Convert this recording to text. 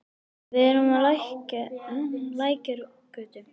Við erum á Lækjargötu.